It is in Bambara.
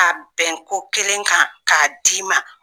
A bɛn ko kelen kan k'a d'i ma